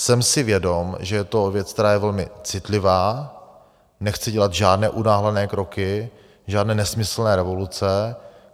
Jsem si vědom, že je to věc, která je velmi citlivá, nechci dělat žádné unáhlené kroky, žádné nesmyslné revoluce.